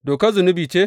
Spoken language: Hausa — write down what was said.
Dokar zunubi ce?